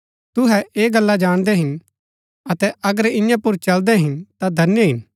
तुहै ऐह गल्ला जाणदै हिन अतै अगर इआं पुर चलदै हिन ता धन्य हिन